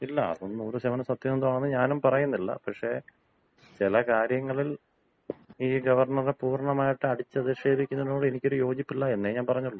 ഇല്ല. അതൊന്നും 100% സത്യമാണെന്ന് ഞാനും പറയുന്നില്ല. പക്ഷേ ചില കാര്യങ്ങളിൽ ഈ ഗവർണറെ പൂർണ്ണമായിട്ട് അടിച്ച് അധിക്ഷേപിക്കുന്നതിനോട് എനിക്ക് യോജിപ്പില്ല എന്നേ ഞാൻ പറഞ്ഞുള്ളൂ.